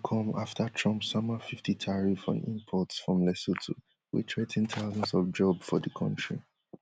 com afta trump sama fifty tariff on imports from lesotho wey threa ten thousands of jobs for di kontri